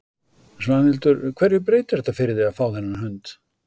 Svanhildur, hverju breytir þetta fyrir þig að fá þennan hund?